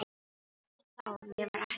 Hann hló, mér var ekki skemmt.